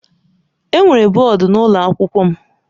Enwere bọọdụ n'ụlọ akwụkwọ m.